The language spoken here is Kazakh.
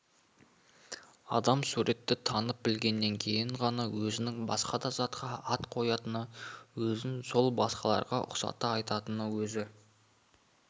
адам суретті танып-білгеннен кейін ғана өзінің басқа затқа ат қоятыны өзін сол басқаларға ұқсата айтатыны өз